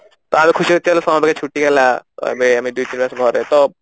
ତ ଆମେ ଖୁସି ହେଇଯାଉଥିଲୁ summer vacation ଛୁଟି ହେଲା ଆମେ ଦୁଇ ତିନି ମାସ ଘରେ ତ